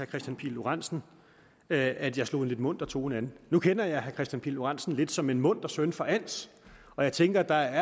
kristian pihl lorentzen at at jeg slog en lidt munter tone an nu kender jeg herre kristian pihl lorentzen lidt som en munter søn fra als og jeg tænker at der